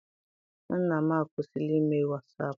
Nna m akwụsila ime wasaapụ.